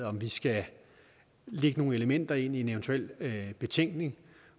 om vi skal lægge nogle elementer ind i en eventuel betænkning